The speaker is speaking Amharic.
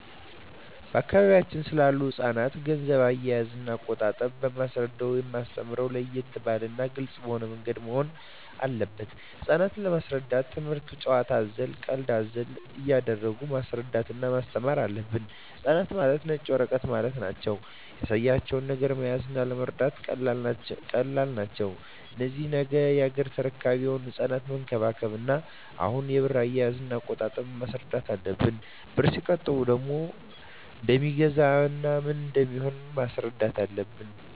በአካባቢያችን ስላሉ ህጻናት ገንዘብ አያያዝና አቆጣጠብ የማስረዳውና የማስተምረው ለየት ባለና ግልጽ በሆነ ምንገድ መሆን አለበት ህጻናት ለመሰረዳት ትምክህቱን ጭዋታ አዘል ቀልድ አዘል እያረጉ ማስረዳት እና ማስተማር አለብን ህጻናት ማለት ነጭ ወረቀት ማለት ናቸው ያሳያቸው ነገር መያዝ ለመረዳት ቀላል ናቸው እነዚህ ነገ ያገሬ ተረካቢ የሆኑ ህጻናትን መንከባከብ እና አሁኑ የብር አያያዥ እና አቆጣጠብ ማስረዳት አለብን ብርን ሲቆጥቡ ምን እደሜገዛ ምን እንደሚሆኑም ማስረዳት አለብን